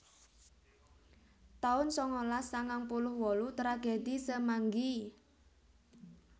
taun sangalas sangang puluh wolu Tragedi Semanggi